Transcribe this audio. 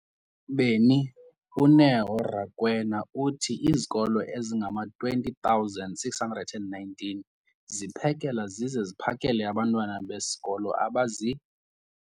beni, uNeo Rakwena, uthi izikolo ezingama-20 619 ziphekela zize ziphakele abantwana besikolo abazi-